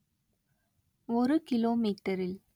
ஒரு கிலோமீட்டரில்